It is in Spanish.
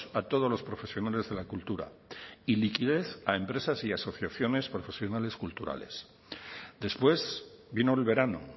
a todos los profesionales de la cultura y liquidez a empresas y a asociaciones profesionales culturales después vino el verano